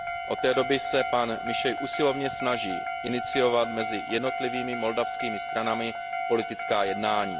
Od té doby se pan Mizsei usilovně snaží iniciovat mezi jednotlivými moldavskými stranami politická jednání.